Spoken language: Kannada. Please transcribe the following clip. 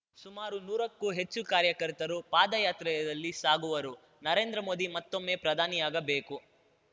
ಸುಮಾರು ನೂರಕ್ಕೂ ಹೆಚ್ಚು ಕಾರ್ಯಕರ್ತರು ಪಾದಯಾತ್ರೆಯಲ್ಲಿ ಸಾಗುವರು ನರೇಂದ್ರ ಮೋದಿ ಮತ್ತೊಮ್ಮೆ ಪ್ರಧಾನಿಯಾಗಬೇಕು